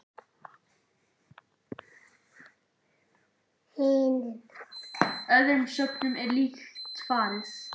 Hinum öðrum söfnum er líkt farið.